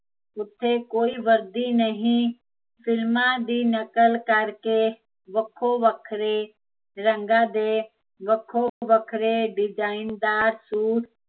ਉੱਥੇ ਕੋਈ ਵਰਦੀ ਨਹੀਂ ਫਿਲਮਾਂ ਦੀ ਨਕਲ ਕਰਕੇ, ਵੱਖੋ ਵੱਖਰੇ ਰੰਗਾਂ ਦੇ, ਵੱਖੋ ਵੱਖਰੇ ਡਿਜ਼ਾਇਨਦਾਰ ਸੂਟ